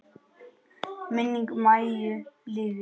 Minning Maju lifir.